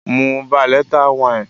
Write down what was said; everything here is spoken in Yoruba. Mu veleta wine.